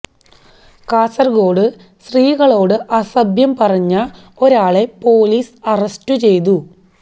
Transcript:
കാസര്ഗോട്ട് സ്ത്രീകളോട് അസഭ്യം പറഞ്ഞ ഒരാളെ പോലീസ് അറസ്റ്റ് ചെയ്തു